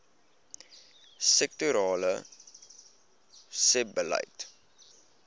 sektorale sebbeleid